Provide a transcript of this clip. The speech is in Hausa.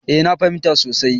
Eh na fahimta sosai.